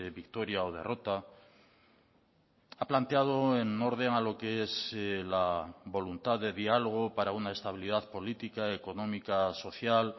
victoria o derrota ha planteado en orden a lo que es la voluntad de diálogo para una estabilidad política económica social